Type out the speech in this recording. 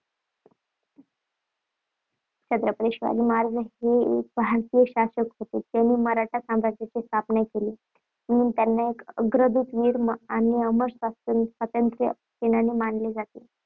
छत्रपती शिवाजी महाराज हे एक भारतीय शासक होते ज्यांनी मराठा साम्राज्याची स्थापना केली, म्हणून त्यांना एक अग्रदूत वीर आणि अमर स्वातंत्र्य सेनानी मानले जाते.